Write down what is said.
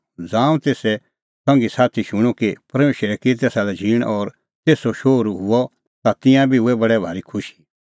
ज़ांऊं तेसे संघीसाथी शूणअ कि परमेशरै की तेसा लै झींण और तेसो हुअ शोहरू ता तिंयां बी हुऐ बडै भारी खुशी